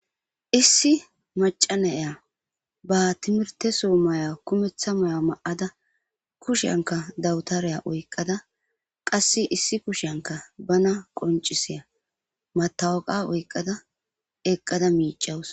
issi macanaya ba timirteso maya kumeththa may7a ma7ada kusheyanka dawutariya oyqqada qasse issi kusheyanka bana qoncisiya matawaqa oyqqada eqqada miicawus